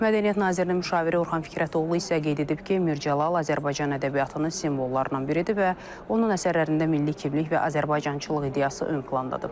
Mədəniyyət Nazirliyinin müşaviri Orxan Fikrətoğlu isə qeyd edib ki, Mirzəcəlal Azərbaycan ədəbiyyatının simvollardan biridir və onun əsərlərində milli kimlik və Azərbaycancılıq ideyası ön plandadır.